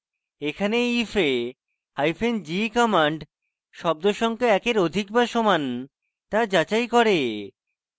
এখানে এই if এ হাইফেন ge কমান্ড শব্দ সংখ্যা একের অধিক বা সমান তা যাচাই করে